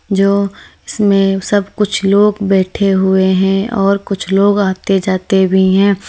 जो इसमें सब कुछ लोग बैठे हुए हैं और कुछ लोग आते जाते भी हैं।